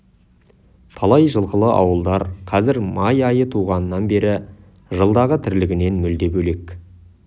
талай жылқылы ауылдар қазір май айы туғаннан бері жылдағы тірлігінен мүлде бөлек